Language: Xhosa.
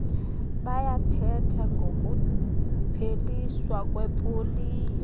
bayathetha ngokupheliswa kwepoliyo